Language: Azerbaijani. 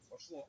Getdi.